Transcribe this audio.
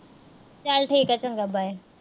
ਚਲ ਠੀਕ ਆ। ਚੰਗਾ bye